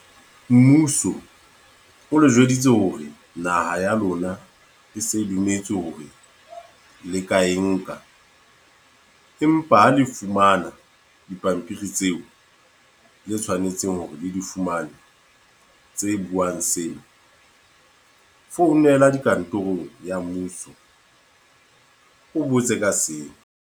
Mmuso, o le jweditswe hore naha ya lona e se dumetse hore le ka e nka. Empa ha le fumana dipampiri tseo, le tshwanetseng hore le di fumane tse buang seo. Founela di kantorong ya mmuso. O botse ka seo.